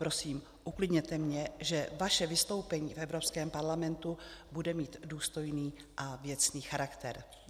Prosím, uklidněte mě, že vaše vystoupení v Evropském parlamentu bude mít důstojný a věcný charakter.